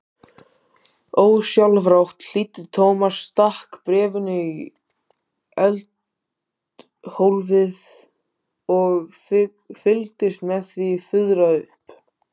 Ósjálfrátt hlýddi Thomas, stakk bréfinu í eldhólfið og fylgdist með því fuðra upp.